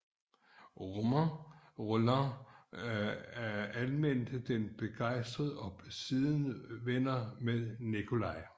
Romain Rolland anmeldte den begejstret og blev siden venner med Nicolai